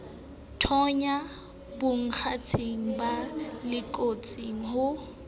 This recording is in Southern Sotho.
thonya bonkgetheng ba loketseng ho